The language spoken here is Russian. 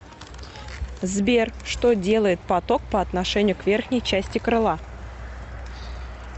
сбер что делает поток по отношению к верхней части крыла